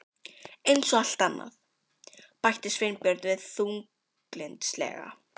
Eins og allt annað- bætti Sveinbjörn við þunglyndislega.